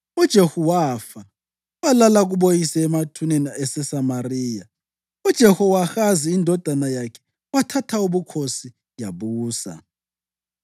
UJehu wafa walala kuboyise emathuneni aseSamariya. UJehowahazi indodana yakhe yathatha ubukhosi yabusa.